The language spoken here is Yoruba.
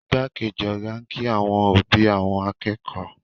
Igbákejì ọ̀gá kí àwọn òbí àwọn akẹ́kọ̀ọ́